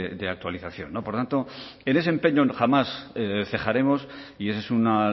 de actualización por tanto en ese empeño jamás cejaremos y esa es una